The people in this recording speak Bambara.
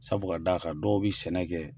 Sabu ka d'a kan dɔw bɛ sɛnɛ kɛ.